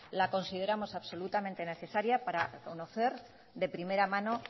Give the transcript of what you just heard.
la consideramos absolutamente necesaria para conocer de primera mano